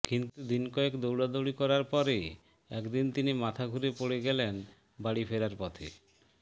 কিন্তু দিনকয়েক দৌড়াদৌড়ি করার পরে একদিন তিনি মাথা ঘুরে পড়ে গেলেন বাড়ি ফেরার পথে